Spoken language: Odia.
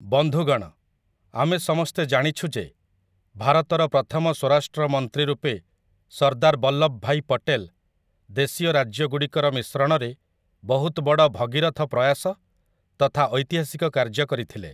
ବନ୍ଧୁଗଣ, ଆମେ ସମସ୍ତେ ଜାଣିଛୁ ଯେ, ଭାରତର ପ୍ରଥମ ସ୍ୱରାଷ୍ଟ୍ର ମନ୍ତ୍ରୀ ରୂପେ ସର୍ଦ୍ଦାର ବଲ୍ଲଭଭାଇ ପଟେଲ ଦେଶୀୟ ରାଜ୍ୟଗୁଡ଼ିକର ମିଶ୍ରଣରେ ବହୁତ ବଡ଼ ଭଗୀରଥ ପ୍ରୟାସ ତଥା ଐତିହାସିକ କାର୍ଯ୍ୟ କରିଥିଲେ ।